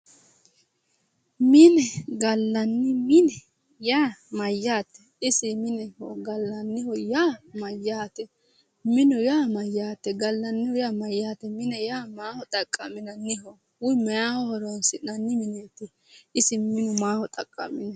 Minenna gallanni mine yaa maayate ,gallanni mine yaa maayate, gallanni mine yaa maayate ,mineho yaa maaho xaqamano woyi maaho horonsi'nanniho ,isi minu maaho xaqa'minanniho?